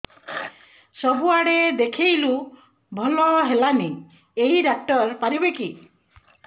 ସବୁଆଡେ ଦେଖେଇଲୁ ଭଲ ହେଲାନି ଏଇ ଡ଼ାକ୍ତର ପାରିବେ କି